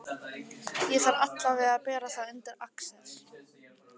Ég þarf allavega að bera það undir Axel.